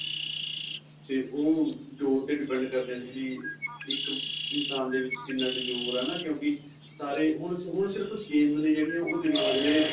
ਤੇ ਉਹ ਜ਼ੋਰ ਤੇ depend ਕਰਦੀਆ ਸੀ ਵੀ ਇੱਕ ਇਨਸ਼ਾਨ ਦੇ ਵਿੱਚ ਕਿੰਨਾ ਜ਼ੋਰ ਏ ਕਿਉਂਕਿ ਹੁਣ ਹੁਣ ਸਿਰਫ਼ games ਨੇ ਜਿਹੜੀਆਂ